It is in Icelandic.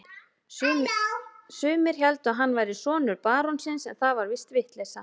Sumir héldu að hann væri sonur barónsins, en það var víst vitleysa.